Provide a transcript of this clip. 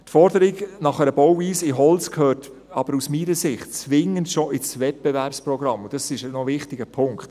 Die Forderung nach einer Bauweise in Holz gehört aber aus meiner Sicht schon zwingend in das Wettbewerbsprogramm, und das ist noch ein wichtiger Punkt.